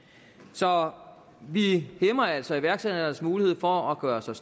så vi hæmmer altså iværksætternes mulighed for at gøre sig